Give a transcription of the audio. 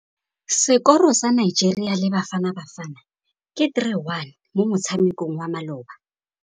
Sekôrô sa Nigeria le Bafanabafana ke 3-1 mo motshamekong wa malôba.